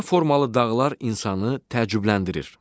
Qəribə formalı dağlar insanı təəccübləndirir.